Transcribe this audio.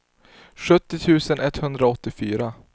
sjuttio tusen etthundraåttiofyra